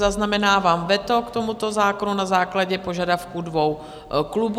Zaznamenávám veto k tomuto zákonu na základě požadavků dvou klubů.